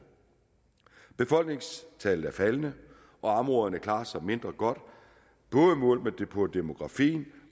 befolkningstallet er faldende og områderne klarer sig mindre godt både målt på demografien